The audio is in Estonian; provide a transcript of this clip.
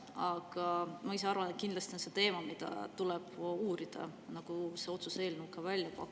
Aga ma arvan, et kindlasti on see teema, mida tuleb uurida, nagu see otsuse eelnõu ka välja pakub.